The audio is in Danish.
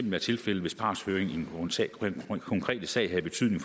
være tilfældet hvis partshøringen i den konkrete sag havde betydning